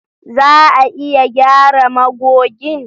Za a iya gyara magogin?